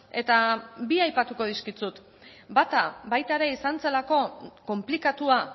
eta bi aipatuko dizkizut bata baita ere izan zelako konplikatua